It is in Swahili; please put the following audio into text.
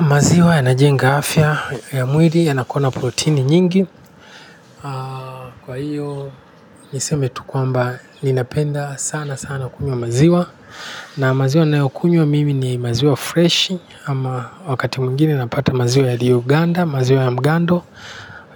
Maziwa yanajenga afya ya mwili yanakuwa na protini nyingi kwa hiyo niseme tu kwamba ninapenda sana sana kunywa maziwa na maziwa ninayokunywa mimi ni maziwa freshi ama wakati mwingine napata maziwa yaliyoganda, maziwa ya mgando,